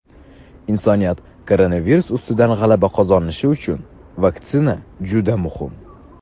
Insoniyat koronavirus ustidan g‘alaba qozonishi uchun vaksina juda muhim.